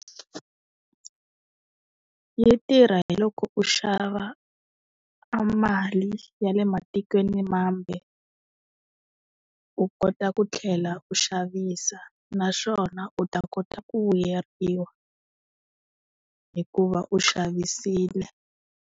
Yi tirha hi loko u xava amali ya le matikweni mambe. U kota ku tlhela u xavisa, naswona u ta kota ku vuyeriwa, hikuva u xavisile.